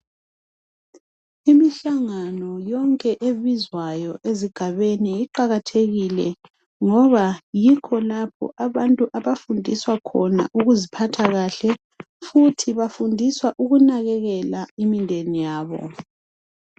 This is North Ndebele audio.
Imihlangano yonke ebizwayo ezigabeni iqakathekile ngoba yikho lapho abantu abafundiswa khona ukuziphatha kahle, futhi bafundiswa ukunakekela imindeni yabo.